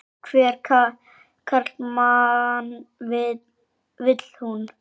En hvernig karlmann vil hún?